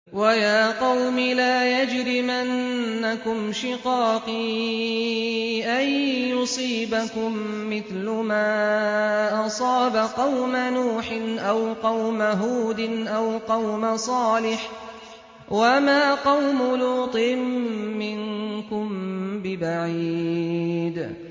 وَيَا قَوْمِ لَا يَجْرِمَنَّكُمْ شِقَاقِي أَن يُصِيبَكُم مِّثْلُ مَا أَصَابَ قَوْمَ نُوحٍ أَوْ قَوْمَ هُودٍ أَوْ قَوْمَ صَالِحٍ ۚ وَمَا قَوْمُ لُوطٍ مِّنكُم بِبَعِيدٍ